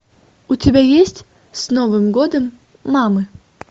у тебя есть с новым годом мамы